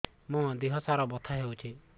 ମୋ ଦିହସାରା ବଥା ହଉଚି